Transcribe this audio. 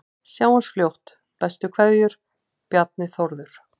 Sjáumst fljótt, bestu kveðjur: Bjarni Þórður